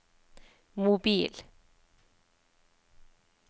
mobil